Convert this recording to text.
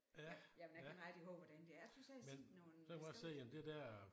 Ja jamen jeg kan ikke rigtig huske hvordan det jeg synes jeg har set noget et sted